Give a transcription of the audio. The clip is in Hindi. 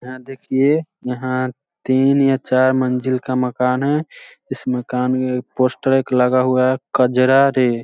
यहाँ देखिए यहाँ तीन या चार मंज़िल का मकान है इस मकान ये पोस्टर एक लगा हुआ है कजरा रे।